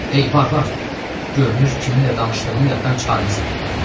Ey barbar, görünür kiminlə danışdığını yaddan çıxarmısan.